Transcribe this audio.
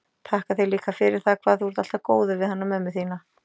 Þakka þér líka fyrir það hvað þú ert alltaf góður við hana mömmu þína.